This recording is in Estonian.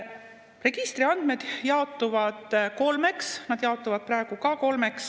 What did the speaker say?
Registriandmed jaotuvad kolmeks, need jaotuvad praegu ka kolmeks.